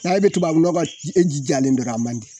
N'a di tubabu nɔgɔ ji e ji jalen de don a man di